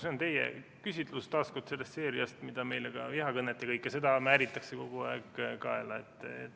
See on teie käsitlus, taas kord sellest seeriast, kui meile vihakõnet ja kõike seda kogu aeg kaela määritakse.